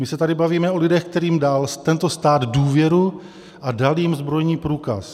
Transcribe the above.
My se tady bavíme o lidech, kterým dal tento stát důvěru a dal jim zbrojní průkaz.